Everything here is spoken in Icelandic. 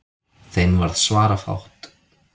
Þeim varð svarafátt.